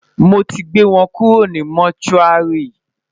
mọ tí gbé wọn kúrò ní motuari